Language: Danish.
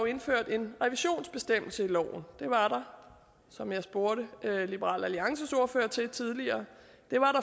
indført en revisionsbestemmelse i loven det var der som jeg spurgte liberal alliances ordfører til tidligere